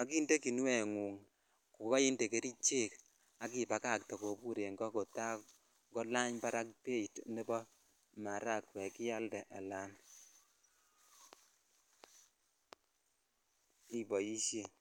ak inde kinuengung ko koinde kerichek ak ipakatee en ko kota kolany barak beit nebo maragwek ialde alan iboishen.